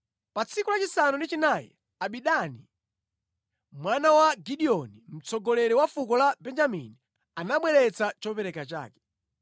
Pa tsiku lachisanu ndi chinayi Abidani mwana wa Gideoni mtsogoleri wa fuko la Benjamini, anabweretsa chopereka chake.